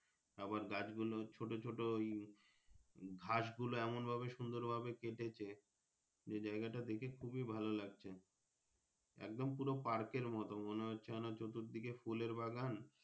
আবার গাছ গুলো ছোট ছোট ঘাস গুলো এমন ভাবে সুবন্দর ভাবে কেটেছে যে যাইগা টা দেখে খুবই ভালো লাগছে একদম পুরো Park এর মতো মনে হচ্ছে চতুর দিকে ফুলের বাগান।